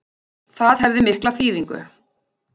Það hefði mikla þýðingu